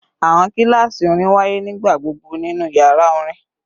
Awọn kilasi orin waye nigbagbogbo ninu yara orin